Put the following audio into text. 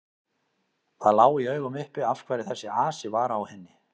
Það lá í augum uppi af hverju þessi asi var á henni.